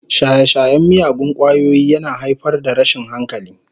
Shaye-shayen miyagun ƙwayoyi yana haifar da rashin hankali.